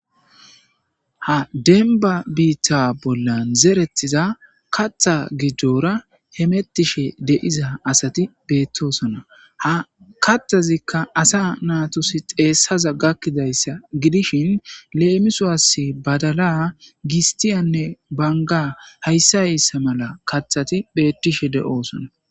Ha demba bita bolan zeretiza katha gidora hemetishe de'za asati betosona ha katazika asa natusi dhesaza gakizaysa gidishin lemisuwas badala,gistiyane banga haysa haysa mala kathati betishe de'osona.